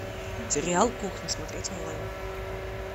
сериал кухня смотреть онлайн